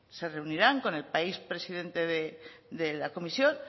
se reunirán con el país presidente de la comisión